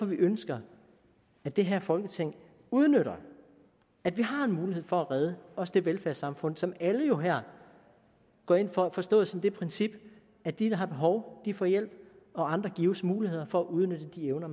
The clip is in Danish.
vi ønsker at det her folketing udnytter at vi har en mulighed for at redde også det velfærdssamfund som alle jo her går ind for forstået som det princip at de der har behov får hjælp og andre gives muligheder for at udnytte de evner